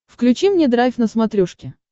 включи мне драйв на смотрешке